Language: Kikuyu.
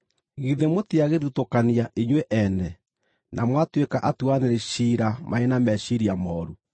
githĩ mũtiagĩthutũkania inyuĩ ene, na mwatuĩka atuanĩri ciira marĩ na meciiria mooru?